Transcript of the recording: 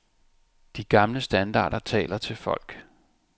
De gamle standarder taler til folk.